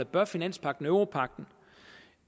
bør finanspagten europagten